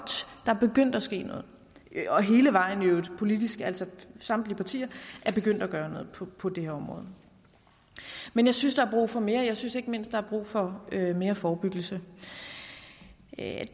er begyndt at ske noget i øvrigt hele vejen politisk altså samtlige partier er begyndt at gøre noget på det her område men jeg synes er brug for mere jeg synes ikke mindst er brug for mere forebyggelse